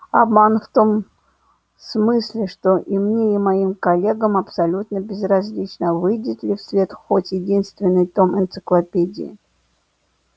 обман в том смысле что и мне и моим коллегам абсолютно безразлично выйдет ли в свет хоть единственный том энциклопедии